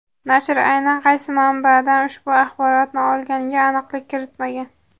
Nashr aynan qaysi manbadan ushbu axborotni olganiga aniqlik kiritmagan.